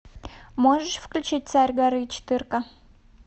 можешь включить царь горы четырка